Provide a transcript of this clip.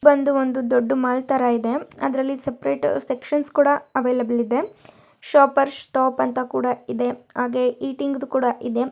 ಬಂದು ಒಂದು ದೊಡ್ಡ್ ಮಾಲ್ ತರ ಇದೆ ಅದರಲ್ಲಿ ಸಪರೇಟ್ ಸೆಕ್ಷನ್ ಕೂಡ ಅವೈಲಬಲ್ ಇದೆ. ಶಾಪರ್ಸ್ ಸ್ಟಾಪ್ ಅಂತ ಕೂಡ ಇದೆ ಹಾಗೆ ಈಟಿಂಗ್ ದೂ ಕೂಡ ಇದೆ.